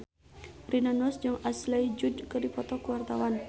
Rina Nose jeung Ashley Judd keur dipoto ku wartawan